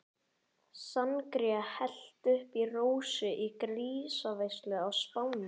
Sangría hellt upp í Rósu í grísaveislu á Spáni.